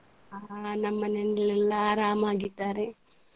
ಹಾ ನಮ್ಮನೇಲಿ ಎಲ್ಲ ಆರಾಮಾಗಿದ್ದಾರೆ.